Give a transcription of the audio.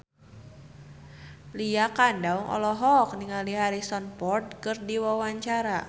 Lydia Kandou olohok ningali Harrison Ford keur diwawancara